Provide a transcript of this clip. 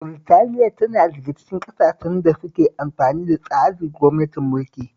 Britaniya tana daga cikin ƙasashen da suke amfani da tsarin gwamnatin mulki